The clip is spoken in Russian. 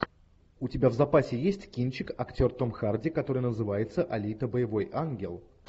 у тебя в запасе есть кинчик актер том харди который называется алита боевой ангел